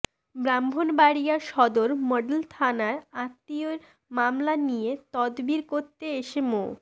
Brahmanbaria Sadar model থানায় আত্মীয়ের মামলা নিয়ে তদবির করতে এসে মো